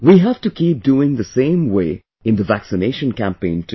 We have to keep doing the same way in the vaccination campaign too